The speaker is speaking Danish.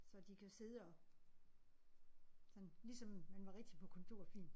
Så de kan sidde og sådan ligesom man var rigtig på kontor fin